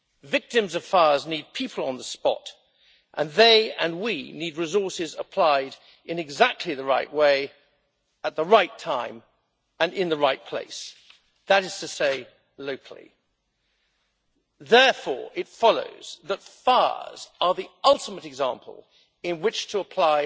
Victims of fires need people on the spot, and they and we need resources applied in exactly the right way at the right time and in the right place, that is to say locally. Therefore, it follows that fires are the ultimate example in which to apply